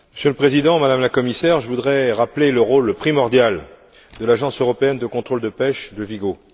Monsieur le Président, Madame la Commissaire, je voudrais rappeler le rôle primordial de l'Agence européenne de contrôle des pêches de Vigo.